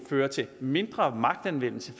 føre til mindre magtanvendelse